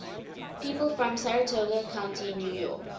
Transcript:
people from saratoga county new york